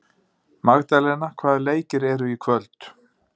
Magdalena, hvaða leikir eru í kvöld?